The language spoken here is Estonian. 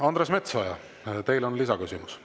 Andres Metsoja, teil on lisaküsimus.